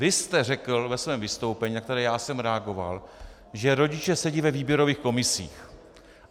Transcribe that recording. Vy jste řekl ve svém vystoupení, na které já jsem reagoval, že rodiče sedí ve výběrových komisích.